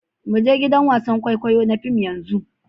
Mu je gidan wasan kwaikwayo na fim yanzu.